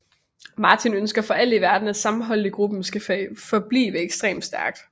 Martin ønsker for alt i verden at sammenholdet i gruppen skal blive ekstremt stærkt